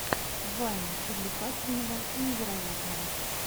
вайн увлекательного и невероятного